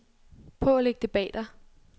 Prøv at lægge det bag dig.